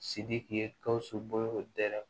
Sidiki ye gawusu bolo dɛrɛ